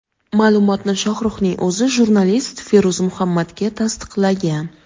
Ma’lumotni Shohruxning o‘zi jurnalist Feruz Muhammadga tasdiqlagan.